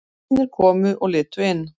Vinir komu og litu inn.